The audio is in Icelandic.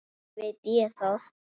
Ekki veit ég það.